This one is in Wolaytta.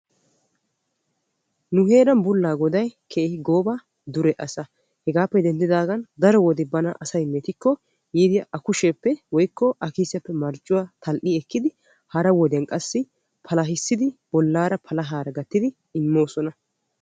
Nu heeran bulagoday keehippe dure asaa. Hegaappe denddidagan daro wode asay bana mettiko yiidi a kushiyappe woykko a kiisiyappe tal'i ekkidi hara wodiyan qassi palahisidi bollaara palahaara gattidi immoosona.